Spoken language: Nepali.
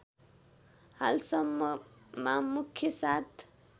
हालसम्ममा मुख्य सात